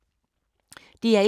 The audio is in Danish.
DR1